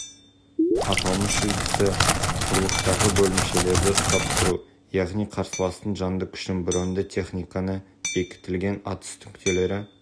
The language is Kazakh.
аталмыш үлгісі құрлықтағы бөлімшелерді ұстап тұру яғни қарсыластың жанды күшін броньды техниканы бекітілген атыс нүктелері